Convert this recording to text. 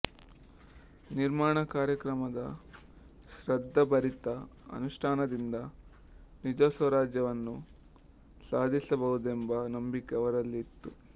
ನಿರ್ಮಾಣ ಕಾರ್ಯಕ್ರಮದ ಶ್ರದ್ಧಾಭರಿತ ಅನುಷ್ಠಾನದಿಂದ ನಿಜಸ್ವರಾಜ್ಯವನ್ನು ಸಾಧಿಸಬಹುದೆಂಬ ನಂಬಿಕೆ ಅವರಲ್ಲಿತ್ತು